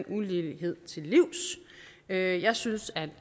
ulighed til livs jeg jeg synes at